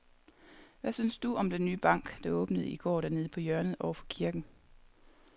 Hvad synes du om den nye bank, der åbnede i går dernede på hjørnet over for kirken?